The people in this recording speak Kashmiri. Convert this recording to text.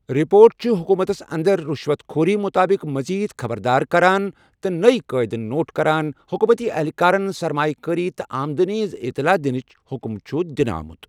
رپورٹ چھِ حکوٗمتَس انٛدَر رُشوَت خوری مُطٲبِق مٔزیٖد خبردار کران، تہِ نئے قٲیدٕ نوٹ کران حکوٗمتی اہلکارَن سرمایہ کٲری تہٕ آمدٕنی ہٕنٛز اطلاع دِنٕچ حُکم چھُ دِنہٕ آمُت ۔